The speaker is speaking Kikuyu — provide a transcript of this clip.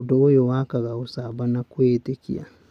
Ũndũ ũyũ nĩ wakaga ucamba na kwĩĩtĩkia.